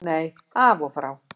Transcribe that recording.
Nei, af og frá.